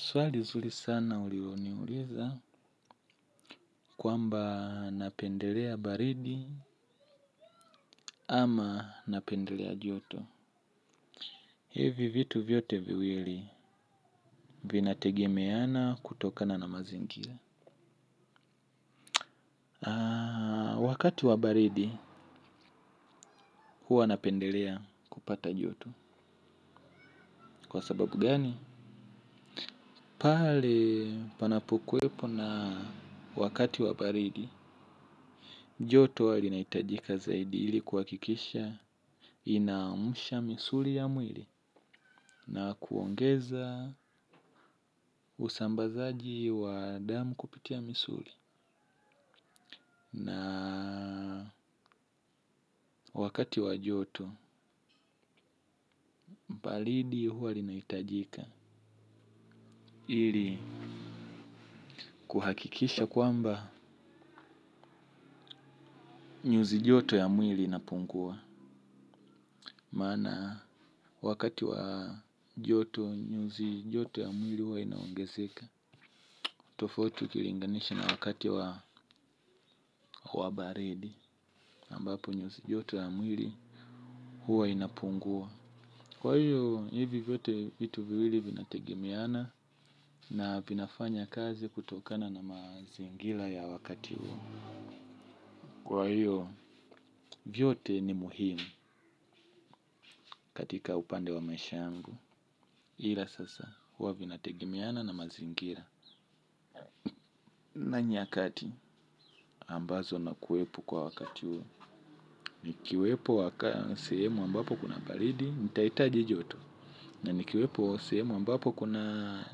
Swali nzuri sana ulioniuliza. Kwamba napendelea baridi. Ama napendelea joto. Hivi vitu vyote viwili vinategemeana kutokana na mazingira. Wakati wa baridi huwa napendelea kupata joto. Kwa sababu gani? Pahali panapokuwepo na wakati wa baridi joto huwa linahitajika zaidi. Hili kuhakikisha inaamusha misuli ya mwili na kuongeza usambazaji wa damu kupitia misuli. Na wakati wa joto baridi huwa linaitajika. Ili kuhakikisha kwamba nyuzi joto ya mwili inapungua. Maana wakati wa joto nyuzi joto ya mwili huwa inaongezeka. Tofauti ukilinganisha na wakati wa baridi ambapo nyuzi joto ya mwili huwa inapungua. Kwa hiyo, hivi vyote vitu viwili vinategemeana na vinafanya kazi kutokana na mazingira ya wakati huo. Kwa hiyo, vyote ni muhimu katika upande wa maisha yangu. Ila sasa, huwa vinategemeana na mazingira. Na nyakati ambazo nakuwepo kwa wakati huo nikiwepo wakati, sehemu ambapo kuna baridi, nitahitaji joto. Na nikiwepo sehemu ambapo kuna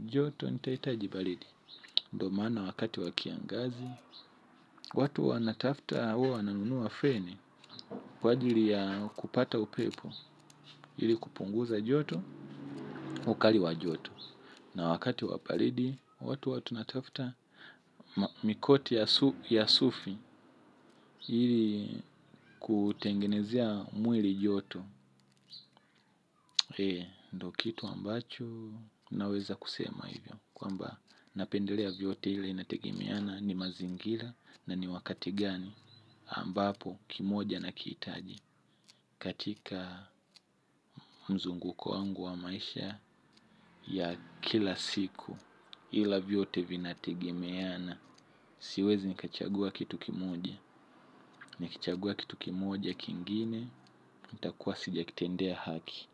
joto, nitahitaji baridi. Ndomaana wakati wa kiangazi, watu wana tafuta huwa wanunua feni. Kwa ajili ya kupata upepo, ili kupunguza joto, ukali wa joto. Na wakati wabaridi, watu wana tafuta, mikoti ya sufi, ili kutengenezea mwili joto. E, ndokitu ambacho, naweza kusema hivyo. Kwa mba, napendelea vyote ile inategemeana, ni mazingira, na ni wakati gani ambapo kimoja nakihitaji katika mzunguko wangu wa maisha ya kila siku ila vyote vinategemeana siwezi nikachagua kitu kimoja nikichagua kitu kimoja kingine kitakuwa sijakitendea haki.